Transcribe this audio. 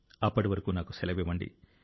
అప్పటి వరకు నాకు సెలవివ్వండి